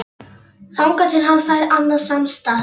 Þangað til hann fær annan samastað